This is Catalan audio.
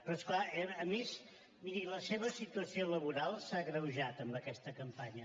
però és clar a més miri la seva situació laboral s’ha agreujat amb aquesta campanya